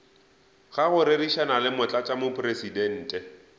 ga go rerišana le motlatšamopresidente